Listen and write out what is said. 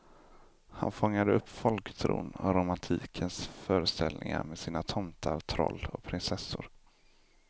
Han fångade upp folktron och romantikens föreställningar med sina tomtar, troll och prinsessor.